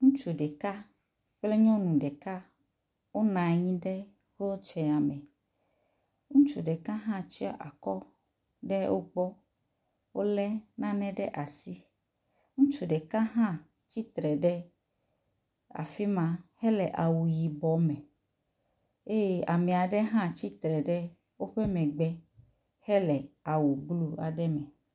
Ŋutsu ɖeka kple nyɔnu ɖeka wonɔ anyi ɖe pɔtsia me. Ŋutsu ɖeka hã tsɔ akɔ ɖe wogbɔ. Wo le nane ɖe asi. Ŋutsu ɖeka hã tsitre ɖe afi ma hele awu yibɔ me eye ame aɖe hã tsitre ɖe woƒe megbe hele awu blu aɖe me.